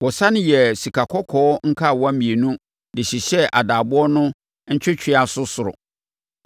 Wɔsane yɛɛ sikakɔkɔɔ nkawa mmienu de hyehyɛɛ adaaboɔ no ntwɛtwɛaso soro.